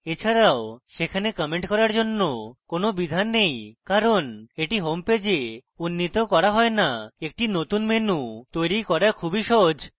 এছাড়াও সেখানে commenting করার জন্য কোন বিধান নেই কারণ এটি home পেজে উন্নীত করা হয় no একটি নতুন menu তৈরী করা খুবই সহজ